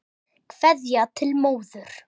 Kveðja til móður.